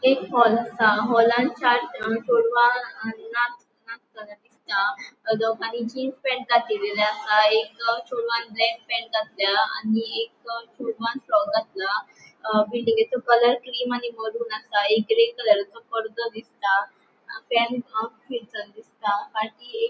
एक हॉल असा हॉलांन चार जाण चेड़वा दिसता आणि दोगानी जीन्स पॅन्ट घातलेली आसा एक चेड़वान ब्लॅक पॅन्ट घातला आणि एक चेड़वान फ्रॉक घातला अ बिल्डिंगसो कलर क्रीम आणि मारून आसा एक ग्रे कलरचो पडदो दिसता दिसता आणि एक --